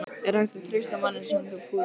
Er hægt að treysta manni sem púar?